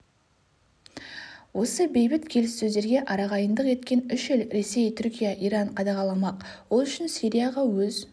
осы бейбіт келіссөздерге арағайындық еткен үш ел ресей түркия иран қадағаламақ ол үшін сирияға өз